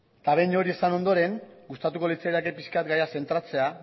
eta behin hori esan ondoren gustatuko litzaidake pixka bat gaia zentratzea